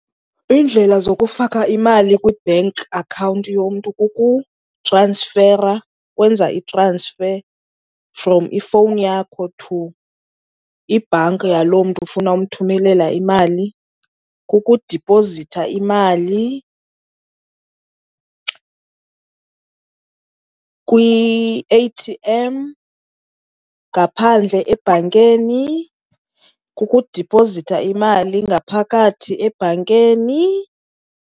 Iindlela zokufaka imali kwi-bank account yomntu kukutransfera, ukwenza i-transfer from ifowuni yakho to ibhanki yaloo mntu ufuna umthumelela imali, kukudipozitha imali kwi-A_T_M ngaphandle ebhankeni, kukudiphozitha imali ngaphakathi ebhankeni.